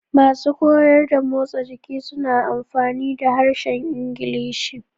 Masu koyar da motsa jiki suna amfani da harshen Ingilishi.